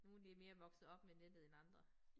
Nogen de mere vokset op med nettet end andre